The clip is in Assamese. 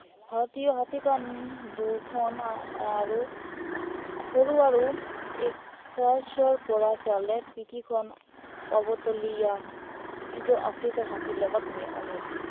ভাৰতীয় হাতীৰ কাণ দুখন আৰু সৰু আৰু একাষৰ পৰা চালে পিঠিখন অৱতলীয়া, যিটো আফ্ৰিকাৰ হাতীৰ লগত অমিল।